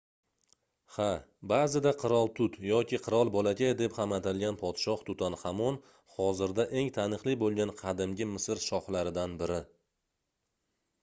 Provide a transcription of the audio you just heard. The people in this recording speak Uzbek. ha baʼzida qirol tut yoki qirol bolakay deb ham atalgan podshoh tutanxamon hozirda eng taniqli boʻlgan qadimgi misr shohlaridan biri